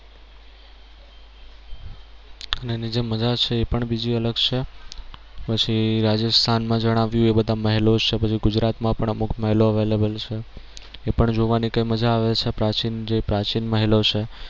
જે મજા છે એ પણ બીજી અલગ છે પછી રાજસ્થાન માં જણાવ્યું એ બધા મહેલો છે પછી ગુજરાત માં પણ અમુક મહેલો available છે એ પણ જોવાની કઈ મજા આવે છે પ્રાચીન જે પ્રાચીન મહેલો છે